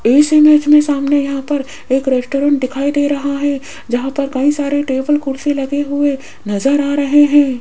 इस इमेज में सामने यहां पर एक रेस्टोरेंट दिखाई दे रहा है जहां पर कई सारे टेबल कुर्सी लगे हुए नजर आ रहे हैं।